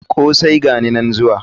Kosai!gani nan zuwa.